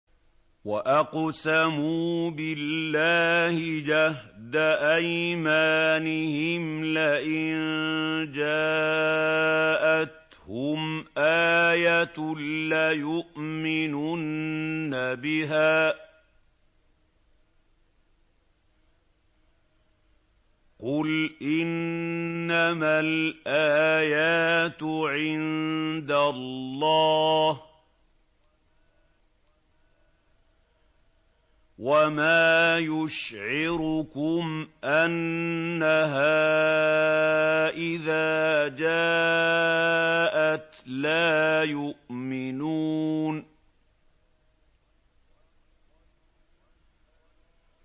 وَأَقْسَمُوا بِاللَّهِ جَهْدَ أَيْمَانِهِمْ لَئِن جَاءَتْهُمْ آيَةٌ لَّيُؤْمِنُنَّ بِهَا ۚ قُلْ إِنَّمَا الْآيَاتُ عِندَ اللَّهِ ۖ وَمَا يُشْعِرُكُمْ أَنَّهَا إِذَا جَاءَتْ لَا يُؤْمِنُونَ